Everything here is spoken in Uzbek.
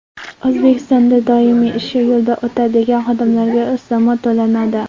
O‘zbekistonda doimiy ishi yo‘lda o‘tadigan xodimlarga ustama to‘lanadi.